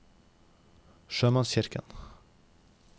sjømannskirken